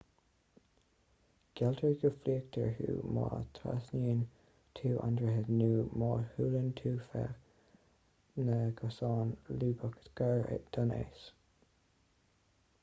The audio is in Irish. gealltar go bhfliuchfar thú má thrasnaíonn tú an droichead nó má shiúlann tú feadh na gcosán lúbach gar don eas